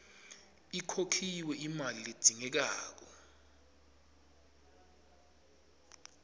ikhokhiwe imali ledzingekako